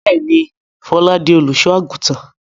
Bẹ́ẹ̀ni, Fọlá di olùṣọ́-àgùntàn.